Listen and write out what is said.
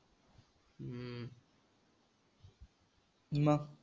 मग?